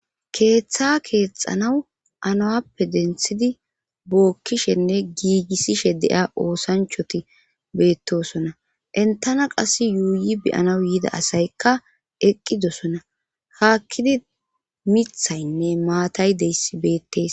Keeththa keexanaw anawappe denthidi bookkishenne giigissishe de7ia oosanchoti beettosona entana qas yuuyi beyanaw yida asaykka eqqidosona haakkidi mithaynne maatay deyss beettees.